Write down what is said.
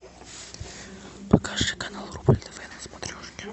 покажи канал рубль тв на смотрешке